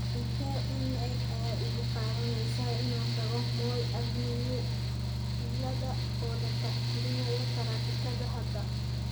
intee ayay igu qaadanaysaa in aan tago moi avenue iyada oo la tixgalinayo taraafikada hadda